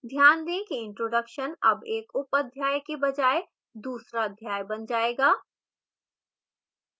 ध्यान दें कि introduction अब एक उपअध्याय के बजाय दूसरा अध्याय बन जाएगा